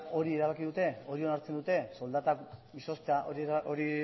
erabaki dute soldata izoztea